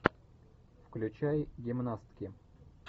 включай гимнастки